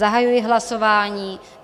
Zahajuji hlasování.